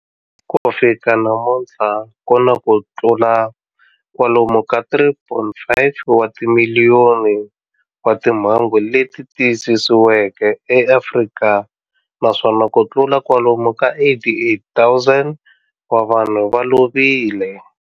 Ku fika namuntlha ku na kutlula kwalomu ka 3.5 wa timiliyoni wa timhangu leti tiyisisiweke eAfrika, naswona kutlula kwalomu ka 88,000 wa vanhu va lovile.